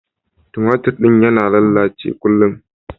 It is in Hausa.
Tumatir din yana lallace kullun.